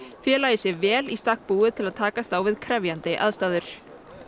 félagið sé vel í stakk búið til að takast á við krefjandi aðstæður